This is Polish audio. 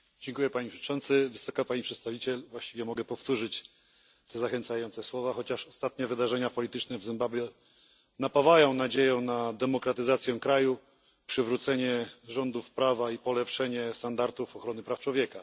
Panie Przewodniczący! Wysoka Pani Przedstawiciel! Właściwie mogę powtórzyć te zachęcające słowa, chociaż ostatnie wydarzenia polityczne w Zimbabwe napawają nadzieją na demokratyzację kraju, przywrócenie rządów prawa i polepszenie standardów ochrony praw człowieka.